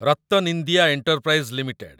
RattanIndia enterprise limited